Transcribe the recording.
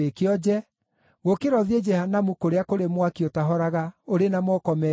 gũkĩra ũthiĩ Jehanamu kũrĩa kũrĩ mwaki ũtahoraga ũrĩ na moko meerĩ.